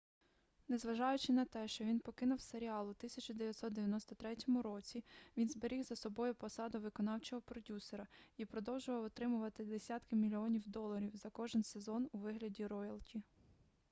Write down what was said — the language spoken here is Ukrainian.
незважаючи на те що він покинув серіал у 1993 році він зберіг за собою посаду виконавчого продюсера і продовжував отримувати десятки мільйонів доларів за кожен сезон у вигляді роялті